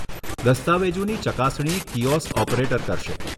દસ્તાવેજોની ચકાસણી kiosk operator કરશે.